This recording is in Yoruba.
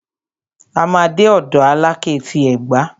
A máa dé ọ̀dọ̀ Alákẹ́ ti Ẹ̀gbá.